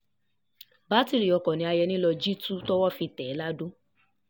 bátìrì oko ni ayẹni lọọ́ jí tu tówó fi tẹ̀ ẹ́ ladọ